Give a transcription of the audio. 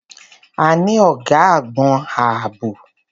A ní ọ̀gá àgbon ààbò.